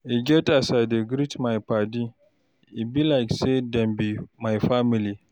E get as I dey greet my paddy, e be like say dem be my family.